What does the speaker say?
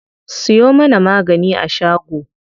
Siyo mana magani a shago.